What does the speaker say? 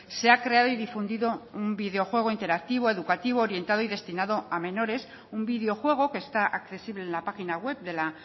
se ha creado y difundido un videojuego interactivo educativo orientado y destinado a menores un videojuego que está accesible en la página web de la